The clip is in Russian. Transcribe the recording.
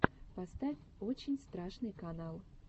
поставь очень страшный канал